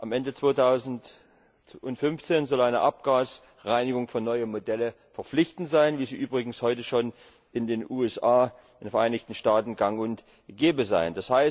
Ende 2015 soll eine Abgasreinigung für neue Modelle verpflichtend sein, wie sie übrigens heute schon in den Vereinigten Staaten gang und gäbe ist.